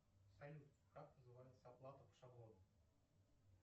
салют как называется оплата по шаблону